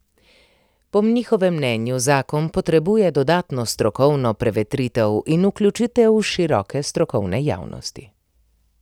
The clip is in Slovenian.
Po njihovem mnenju zakon potrebuje dodatno strokovno prevetritev in vključitev široke strokovne javnosti.